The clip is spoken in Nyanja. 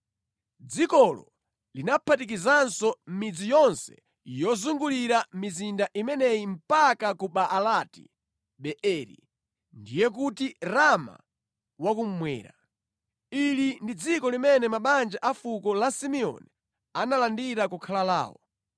Dzikolo linaphatikizanso midzi yonse yozungulira mizinda imeneyi mpaka ku Baalati-Beeri, ndiye kuti Rama wa kummwera. Ili ndi dziko limene mabanja a fuko la Simeoni analandira kukhala lawo.